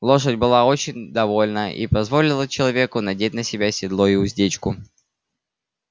лошадь была очень довольна и позволила человеку надеть на себя седло и уздечку